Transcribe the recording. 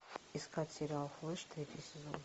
искать сериал флеш третий сезон